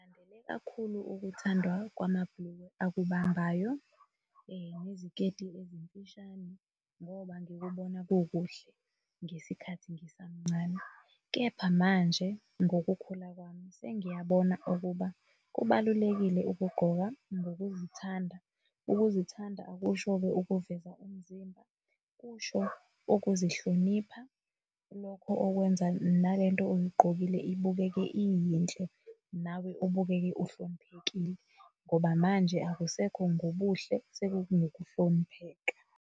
Ng'landele kakhulu ukuthandwa kwamabhulukwe akubambayo neziketi ezimfishane ngoba ngikubona kukuhle ngesikhathi ngisamncane. Kepha manje ngokukhula kwami sengiyabona ukuba kubalulekile ukugqoka ngokuzithanda. Ukuzithanda akusho-ke ukuveza umzimba, kusho ukuzihlonipha lokho okwenza nalento oyigqokile ibukeke iyinhle nawe ubukeke uhloniphekile ngoba manje akusekho ngobuhle sekungokuhlonipheka.